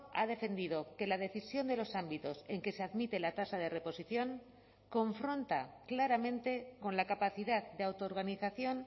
ha defendido que la decisión de los ámbitos en que se admite la tasa de reposición confronta claramente con la capacidad de autoorganización